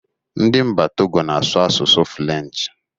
Ndị Mba Togo na asụ asụsụ Fụlenchi.